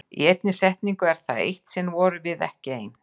Í einni setningu er það: Eitt sinn vorum við ekki ein.